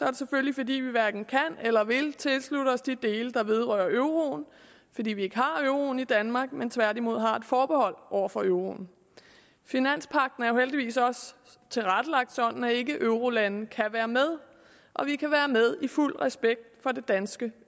det selvfølgelig fordi vi hverken kan eller vil tilslutte os de dele der vedrører euroen fordi vi ikke har euroen i danmark men tværtimod har et forbehold over for euroen finanspagten er jo heldigvis også tilrettelagt sådan at ikkeeurolande kan være med og vi kan være med i fuld respekt for det danske